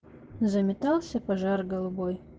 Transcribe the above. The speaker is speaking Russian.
заметался пожар голубой